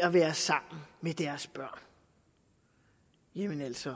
at være sammen med deres børn jamen altså